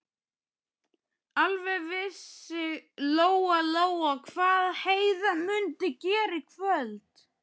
Alveg vissi Lóa-Lóa hvað Heiða mundi gera í kvöld.